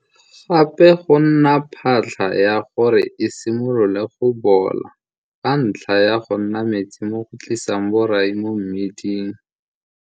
Gape go nna phatlha ya gore e simolole go bola ka ntlha ya go nna metsi mo go tlisang borai mo mmiding.